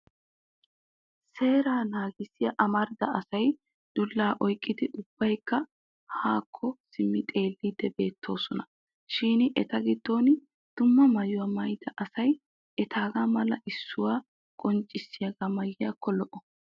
Seeraa naagissiya amarida asay dullaa oyqqidi ubbaykka haakko simmi xeelleddi beettoosona. Shin eta giddon dumma maayuwa maayida asay etaagaa mala issuwa qonccissiyagaa maayiyaakko lo'o.